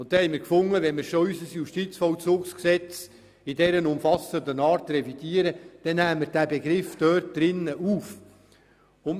Wenn wir schon unser Justizvollzugsgesetz so umfassend revidieren, wollen wir diesen Begriff gleich aufnehmen.